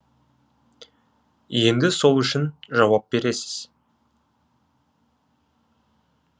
енді сол үшін жауап бересіз